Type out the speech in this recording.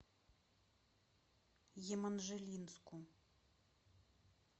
еманжелинску